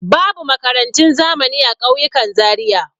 Babu makarantun zamani a ƙauyukan Zariya.